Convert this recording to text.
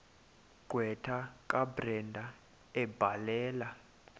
gqwetha kabrenda ebhalela